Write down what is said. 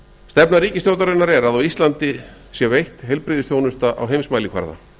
stefna ríkisstjórnarinnar er að á íslandi sé veitt heilbrigðisþjónusta á heimsmælikvarða